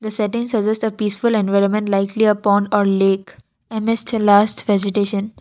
setting suggest a peaceful environment likely pond or a lake and it's a last vegetation.